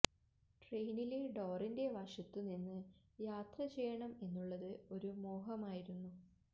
ട്രെയിനിലെ ഡോറിന്റെ വശത്തു നിന്ന് യാത്ര ചെയ്യണം എന്നുള്ളത് ഒരു മോഹമായിരുന്നു